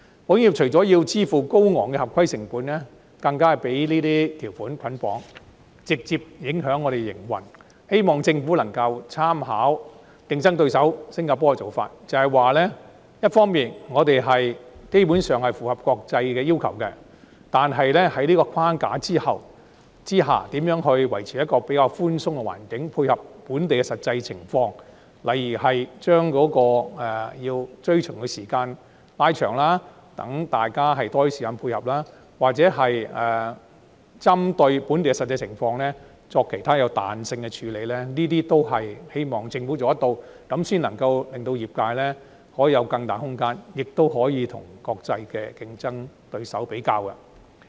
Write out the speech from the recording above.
保險業除了要支付高昂的合規成本，更被這些條款捆綁，直接影響我們的營運，希望政府能夠參考競爭對手新加坡的做法，即是說，一方面我們基本上符合國際的要求，但在這個框架之下，如何維持一個比較寬鬆的環境，以配合本地的實際情況，例如將追循的時間拉長，讓大家有更多時間配合，或者針對本地的實際情況作其他彈性處理，這些也是希望政府能夠做到的工作，這樣才可令業界有更大空間，亦能與國際競爭對手作比較。